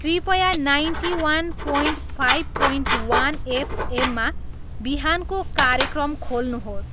कृपया ninety one point five point one F एममा बिहानको कार्यक्रम खेल्नुहोस्